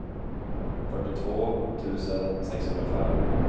fyrtiotvå tusen sexhundrafem